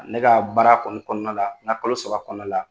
Ne ka baara kɔni kɔnɔna la n ka kalo saba kɔnɔna la